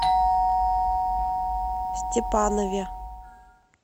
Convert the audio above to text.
степанове